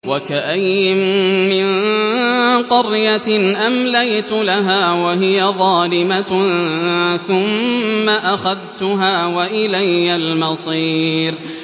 وَكَأَيِّن مِّن قَرْيَةٍ أَمْلَيْتُ لَهَا وَهِيَ ظَالِمَةٌ ثُمَّ أَخَذْتُهَا وَإِلَيَّ الْمَصِيرُ